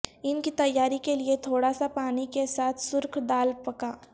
ان کی تیاری کے لئے تھوڑا سا پانی کے ساتھ سرخ دال پکا